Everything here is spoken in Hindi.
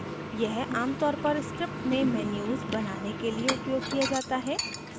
यह आमतौर पर script में menus बनाने के लिए उपयोग किया जाता है